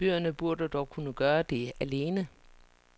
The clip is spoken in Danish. Bøgerne burde dog kunne gøre det alene.